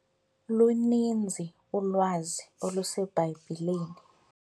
Luninzi ulwazi oluseBhayibhileni.